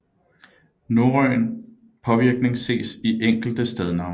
Norrøn påvirkning ses i enkelte stednavne